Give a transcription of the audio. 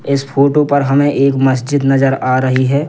इस फोटो पर हमे एक मस्जिद नज़र आ रही है।